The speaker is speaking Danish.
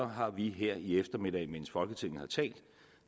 har vi her i eftermiddag mens folketinget har talt